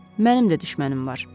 Mənim də düşmənim var.